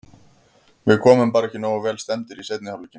Við komum bara ekki nógu vel stemmdir í seinni hálfleikinn.